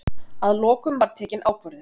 Að lokum var tekin ákvörðun.